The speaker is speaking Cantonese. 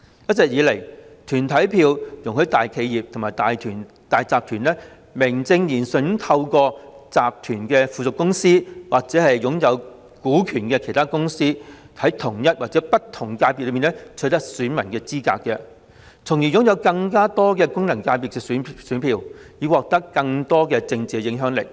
一直以來，團體票容許大企業和大集團名正言順地透過附屬公司或其擁有股權的其他公司，在同一或不同功能界別取得選民資格，從而擁有更多功能界別的選票，以獲得更大政治影響力。